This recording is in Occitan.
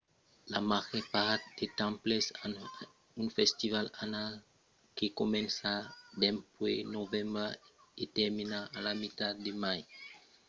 la màger part dels temples an un festival annal que comença dempuèi novembre e termina a la mitat de mai e que vària en foncion del calendièr annal de cada temple